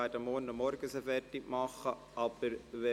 Wir werden sie morgen früh weiter beraten.